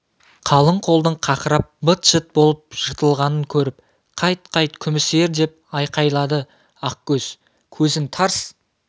қалың қолдың қақырап быт-шыт болып жыртылғанын көріп қайт қайт күміс ер деп айқайлады ақкөз көзін тарс